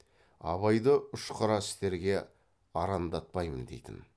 абайды ұшқары істерге арандатпаймын дейтін